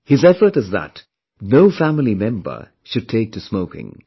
His effort is that no family member should take to smoking